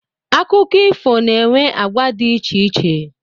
Akụkọ ifo na-enwe agwa di icheiche